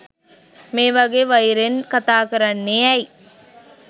මේ වගේ වෛරෙන් කතාකරන්නේ ඇයි